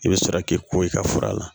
I bɛ sɔrɔ k'i ko i ka fura la